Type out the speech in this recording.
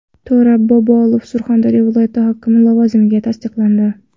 To‘ra Bobolov Surxondaryo viloyati hokimi lavozimiga tasdiqlandi.